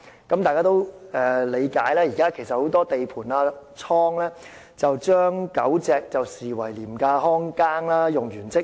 大家也理解，現時很多地盤和貨倉把狗隻視為廉價看更，用完即棄。